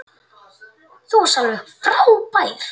Þú varst alveg frábær.